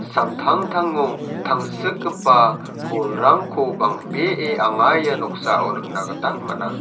samtangtango tangsikgipa bolrangko bang·bee anga ia noksao nikna gita man·a.